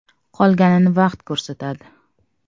Qolganini vaqt ko‘rsatadi.